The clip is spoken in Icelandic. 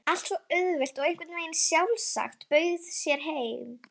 Allt svo auðvelt og einhvern veginn sjálfsagt, bauð sér heim.